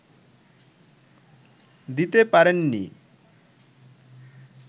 দিতে পারেননি